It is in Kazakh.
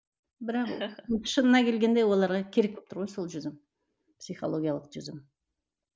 бірақ шынына келгенде оларға керек болып тұр ғой жүзім психологиялық жүзім